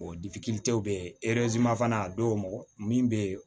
bɛ fana a dɔw min bɛ yen